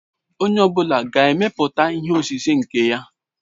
Onye ọ bụla ga-emepụta ihe osise nke ya?